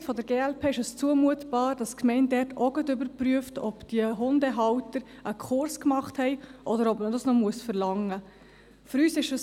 Aus Sicht der glp ist es zumutbar, dass die Gemeinde dort auch gleich überprüft, ob die Hundehalter einen Kurs gemacht haben oder ob man das noch verlangen muss.